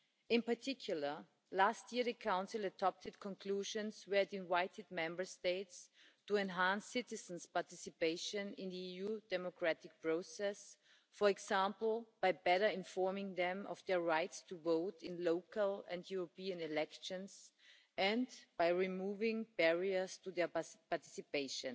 In particular, last year the Council adopted conclusions where it invited Member States to enhance citizens' participation in the EU democratic process, for example, by better informing them of their rights to vote in local and European elections and by removing barriers to their participation.